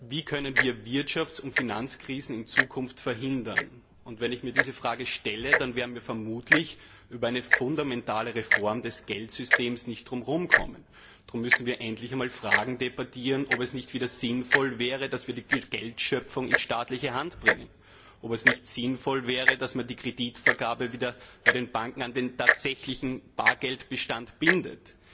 Wie können wir Wirtschafts und Finanzkrisen in Zukunft verhindern? Wenn ich mir diese Frage stelle, dann werden wir vermutlich um eine fundamentale Reform des Geldsystems nicht herumkommen. Darum müssen wir endlich einmal Fragen debattieren, wie die, ob es nicht wieder sinnvoll wäre, dass wir die Geldschöpfung in staatliche Hand bringen, ob es nicht sinnvoll wäre, dass man die Kreditvergabe der Banken wieder an den tatsächlichen Bargeldbestand bindet.